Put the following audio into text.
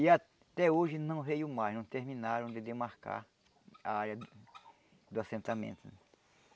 E até hoje não veio mais, não terminaram de demarcar a área do assentamento.